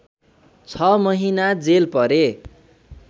६ महिना जेल परे